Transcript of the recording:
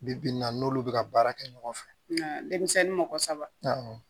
Bi bi in na n'olu bɛ ka baara kɛ ɲɔgɔn fɛ denmisɛnnin mɔgɔ saba